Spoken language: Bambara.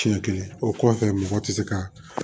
Siɲɛ kelen o kɔfɛ mɔgɔ ti se ka